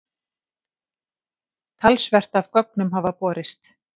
Talsvert af gögnum hafi borist.